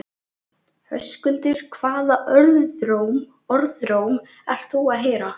Höskuldur: Hvaða orðróm ert þú að heyra?